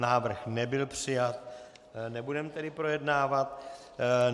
Návrh nebyl přijat, nebudeme tedy projednávat.